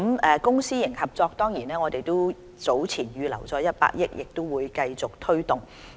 在公私營協作計劃方面，我們早前預留了100億元，亦會繼續推動。